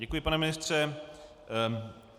Děkuji, pane ministře.